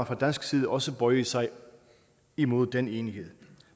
fra dansk side også bøje sig imod den enighed